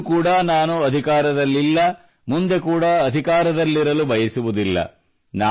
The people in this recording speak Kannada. ಇಂದು ಕೂಡಾ ನಾನು ಅಧಿಕಾರದಲ್ಲಿಲ್ಲ ಮುಂದೆ ಕೂಡಾ ಅಧಿಕಾರದಲ್ಲಿರಲು ಬಯಸುವುದಿಲ್ಲ